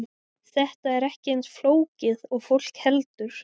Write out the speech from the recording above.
Þetta er ekki eins flókið og fólk heldur.